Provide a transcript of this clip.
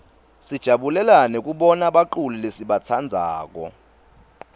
sijabulela nekubona baculi lesibatsandzako